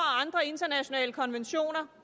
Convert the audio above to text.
andre internationale konventioner